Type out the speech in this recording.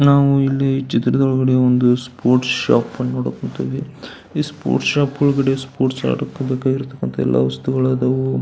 ನಾವು ಇಲ್ಲಿ ಚಿತ್ರದೊಳಗಡೆ ಒಂದು ಸ್ಪೋರ್ಟ್ಸ್ ಶಾಪ್ ಅನ್ನುನೋಡಕುಂತೇವಿ ಈ ಸ್ಪೋರ್ಟ್ಸ್ ಶಾಪ್ ಒಳಗಡೆ ಸ್ಪೋರ್ಟ್ಸ್ ಆಡಕ್ಕೆ ಬೇಕಾಗಿರ್ತಕಂತ ಎಲ್ಲಾ ವಸ್ತುಗಳು ಅದಾವು.